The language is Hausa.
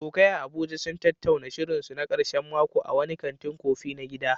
Abokai a Abuja sun tattauna shirinsu na karshen mako a wani kantin kofi na gida.